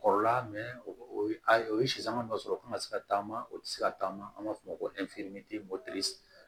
Kɔrɔla o ye a o ye sisan man dɔ sɔrɔ o kana se ka taama o tɛ se ka taama an b'a fɔ o ma ko